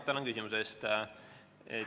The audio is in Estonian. Tänan küsimuse eest!